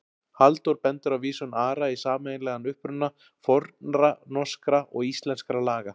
Halldór bendir á vísun Ara í sameiginlegan uppruna fornra norskra og íslenskra laga.